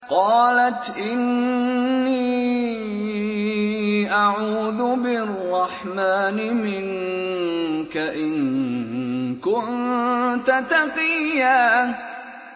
قَالَتْ إِنِّي أَعُوذُ بِالرَّحْمَٰنِ مِنكَ إِن كُنتَ تَقِيًّا